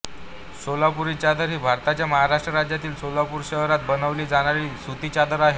सोलापूरी चादर ही भारताच्या महाराष्ट्र राज्यातील सोलापूर शहरात बनवली जाणारी सुती चादर आहे